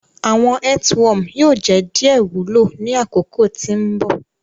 Awọn earthworm yoo jẹ diẹ wulo ni akoko ti mbọ.